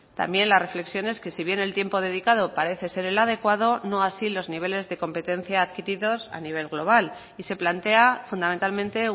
también las reflexiones que si bien el tiempo dedicado parece ser el adecuado no así los niveles de competencia adquirido a nivel global y se plantea fundamentalmente